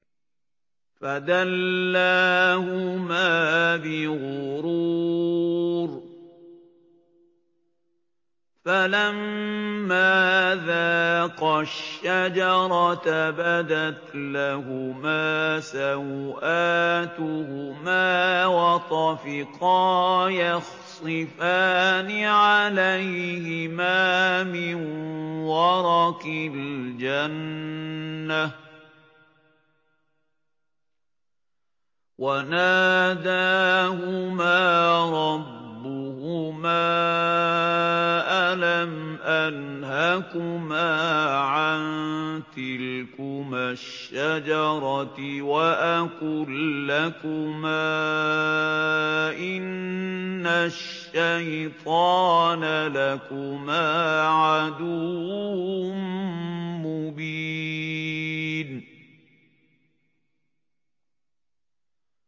فَدَلَّاهُمَا بِغُرُورٍ ۚ فَلَمَّا ذَاقَا الشَّجَرَةَ بَدَتْ لَهُمَا سَوْآتُهُمَا وَطَفِقَا يَخْصِفَانِ عَلَيْهِمَا مِن وَرَقِ الْجَنَّةِ ۖ وَنَادَاهُمَا رَبُّهُمَا أَلَمْ أَنْهَكُمَا عَن تِلْكُمَا الشَّجَرَةِ وَأَقُل لَّكُمَا إِنَّ الشَّيْطَانَ لَكُمَا عَدُوٌّ مُّبِينٌ